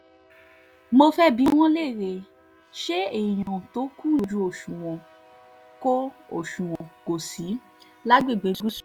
mo fẹ́ẹ́ bi wọ́n léèrè ṣé èèyàn tó kúnjú òṣùwọ̀n kò òṣùwọ̀n kò sí lágbègbè gúúsù ni